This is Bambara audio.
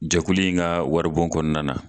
Jɛkulu in ka waribaon kɔnɔna na.